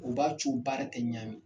U b'a co baara tɛ ɲami.